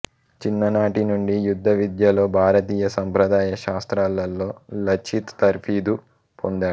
చిన్ననాటి నుండి యుద్ధవిద్యలలో భారతీయ సంప్రదాయ శాస్త్రాలలో లచిత్ తర్ఫీదు పొందాడు